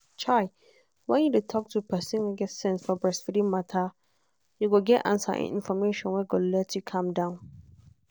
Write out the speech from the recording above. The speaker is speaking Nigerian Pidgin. chai when you dey talk to person wey get sense for breasfeeding matter you go get answer and information wey go let you calm down.